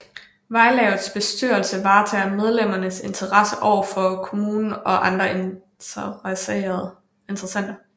Vejlavets bestyrelse varetager medlemmernes interesser overfor kommunen og andre interessenter